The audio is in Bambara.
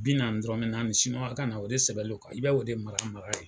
Bi nanni dɔrɔnmɛ nanni ka na o de sɛbɛnlendon, ka i b' o de mara mara ye